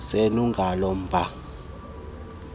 senu ngalo mba